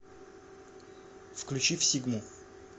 включи всигму